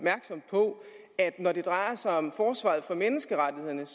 på at når det drejer sig om forsvaret for menneskerettighederne